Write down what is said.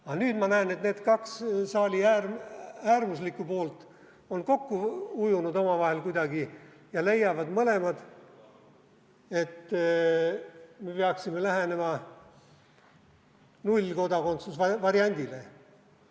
Aga nüüd ma näen, et need kaks saali äärmuslikku poolt on omavahel kuidagi kokku ujunud ja leiavad mõlemad, et me peaksime lähenema nullkodakondsuse variandile.